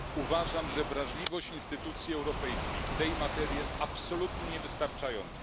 Uważam, że wrażliwość instytucji europejskich w tej materii jest absolutnie niewystarczająca.